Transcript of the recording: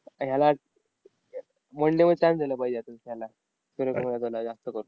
ह्याला one day मध्ये chance द्यायला पाहिजे आता ह्याला सूर्य कुमार यादवला जास्त करून.